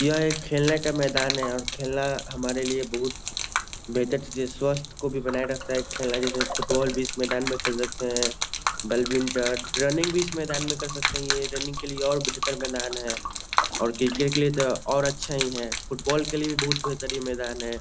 यह एक खेलने का मैदान है और खेलना हमारे लिए बहुत बेहतर चीज़ है। स्वस्थ को भी बनाए रखता है खेलना जैसे फुटबाल भी इस मैदान में खेल सकते हैं बैडमिंटन रनिंग भी इस मैदान में कर सकते हैं। ये रनिंग के लिए और बेहतर मैदान है और क्रिकेट के लिए तो और अच्छा ही है फुटबॉल के लिए भी बहुत बेहतरीन मैदान है।